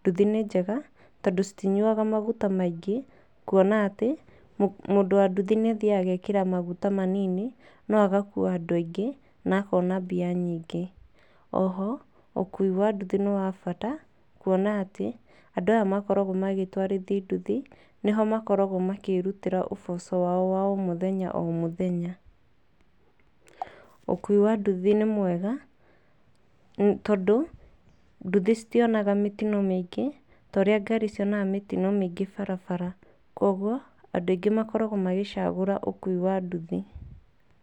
nduthi nĩ njega, tondũ citinyuaga maguta maingĩ kuona atĩ mũndũ wa nduthi nĩ athiaga agekĩra maguta manini no agakua andũ aingĩ na akona mbia nyingĩ. O ho ũkui wa ndũthi nĩ wa bata kuona atĩ andũ aya makoragwo magĩtwarithia nduthi nĩ ho makoragwo makĩrutĩra ũboco wao wa o mũthenya o mũthenya. Ũkui wa nduthi nĩ mwega, tondũ nduthi citionaga mĩtino mĩingĩ ta ũrĩa ngari cionaga mitino mingĩ barabara. Koguo andũ aingĩ makoragwo magĩcagũra ũkui wa nduthi.